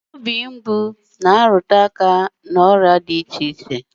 Ihe mgbu obi na afọ mgbu nwere ike ịbụ ihe mgbaàmà nke ọrịa dị iche iche